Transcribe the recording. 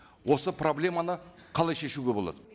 осы проблеманы қалай шешуге болады